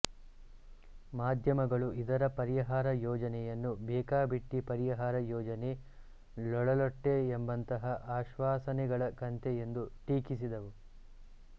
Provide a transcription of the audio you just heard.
ಮಾಧ್ಯಮಗಳು ಇದರ ಪರಿಹಾರ ಯೋಜನೆಯನ್ನು ಬೇಕಾಬಿಟ್ಟಿ ಪರಿಹಾರ ಯೋಜನೆ ಲೊಳಲೊಟ್ಟೆ ಎಂಬಂತಹ ಆಶ್ವಾಸನೆಗಳ ಕಂತೆ ಎಂದು ಟೀಕಿಸಿದವು